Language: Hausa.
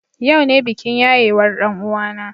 Yau ne bikin yayewar ɗan uwana.